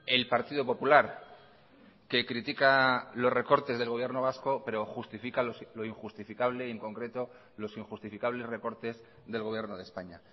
el partido popular que critica los recortes del gobierno vasco pero justifica lo injustificable y en concreto los injustificables recortes del gobierno de españa